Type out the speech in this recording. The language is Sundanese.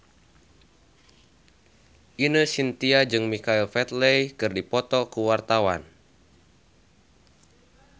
Ine Shintya jeung Michael Flatley keur dipoto ku wartawan